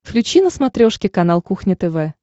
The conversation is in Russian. включи на смотрешке канал кухня тв